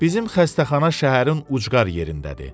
Bizim xəstəxana şəhərin ucqar yerindədir.